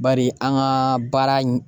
Bari an ka baara in